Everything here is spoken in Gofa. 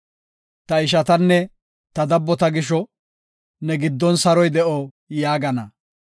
Ta ishatanne ta dabbota gisho, “Ne giddon saroy de7o” yaagana.